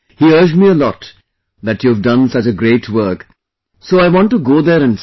He urged me a lot that you have done such a great work, so I want to go there and see